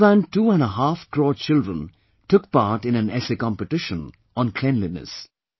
More than two and a half crore children took part in an Essay Competition on cleanliness